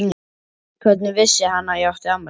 Hvernig vissi hann að ég átti afmæli?